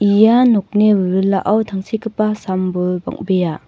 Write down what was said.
ia nokni wilwilao tangsekgipa sam-bol bang·bea.